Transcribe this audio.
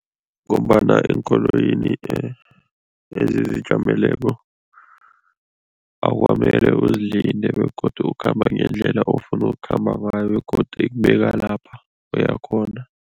Ngombana eenkoloyini ezizijameleko akukamele uzilinde begodu ukhamba ngendlela ofuna ukukhamba ngayo begodu ikubeka lapha uya khona.